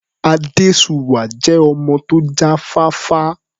Adésuwà jẹ́ ọmọ tó já fáfá.